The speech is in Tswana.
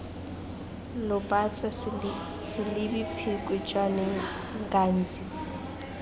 lobatse selebi pikwe jwaneng ghanzi